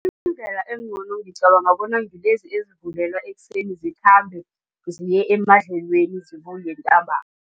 Indlela engcono ngicabanga bona ngilezi ezivulelwa ekuseni zikhambe ziye emadlelweni zibuye